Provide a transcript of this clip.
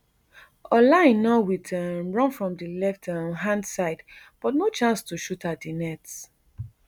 ola aina wit a um run from di left um hand side but no chance to shoot at di net